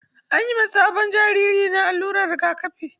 An yi ma sabon jariri na alluran rigakafi.